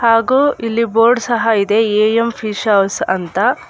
ಹಾಗೂ ಇಲ್ಲಿ ಬೋರ್ಡ್ ಸಹ ಇದೆ ಎ_ಎಂ ಫಿಶ್ ಹೌಸ್ ಅಂತ.